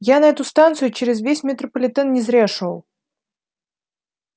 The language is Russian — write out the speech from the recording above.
я на эту станцию через весь метрополитен не зря шёл